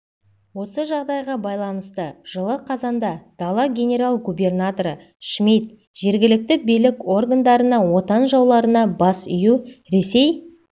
осы жағдайға байланысты жылы қазанда дала генерал-губернаторы шмит жергілікті билік органдарына отан жауларына бас ию ресей